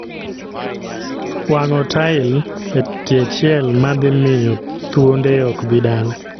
Wang'o tail e tie chiel ma dhi miyo thuonde ok bi dala